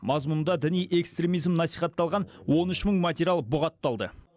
мазмұнында діни экстремизм насихатталған он үш мың материал бұғатталды